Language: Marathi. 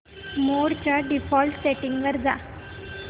मोड च्या डिफॉल्ट सेटिंग्ज वर जा